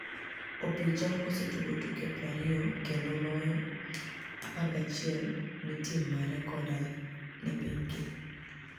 Opija osetugo tuke 20 kenido loyo 11 ni e tim mare koda ni e piniygi